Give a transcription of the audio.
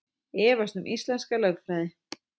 Efast um íslenska lögfræði